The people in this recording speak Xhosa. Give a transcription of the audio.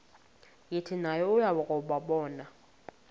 yathi nayo yakuwabona